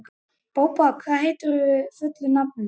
Bóbó, hvað heitir þú fullu nafni?